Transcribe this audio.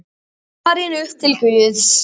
Farin upp til Guðs.